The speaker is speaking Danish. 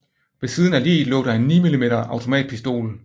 Ved siden af liget lå der en 9 mm automatpistol